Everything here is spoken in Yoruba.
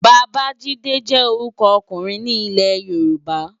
Babajide jè órùkò òkúrin ni Ilè-yoruba